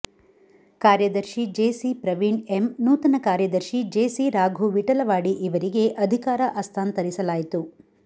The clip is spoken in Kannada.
ಕಾರ್ಯದರ್ಶಿ ಜೇಸಿ ಪ್ರವೀಣ್ ಎಮ್ ನೂತನ ಕಾರ್ಯದರ್ಶಿ ಜೇಸಿ ರಾಘು ವಿಠಲವಾಡಿ ಇವರಿಗೆ ಅಧಿಕಾರ ಹಸ್ತಾಂತರಿಸಲಾಯಿತು